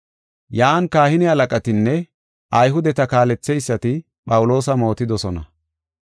Yan kahine halaqatinne Ayhudeta kaaletheysati Phawuloosa mootidosona.